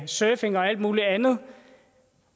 surfing og alt muligt andet